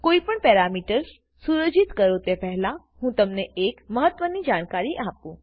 કોઈપણ પેરામીટર્સ સુયોજિત કરો તે પહેલાં હું તમને એક મહત્વની જાણકારી આપું